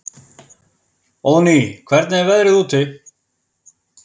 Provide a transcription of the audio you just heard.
Óðný, hvernig er veðrið úti?